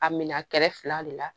A minɛ kɛrɛfɛ fila de la